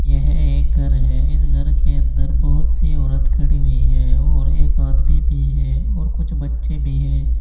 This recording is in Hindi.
यह एक घर है इस घर के अंदर बहुत सी औरत खड़ी हुई है और एक आदमी भी है और कुछ बच्चे भी है।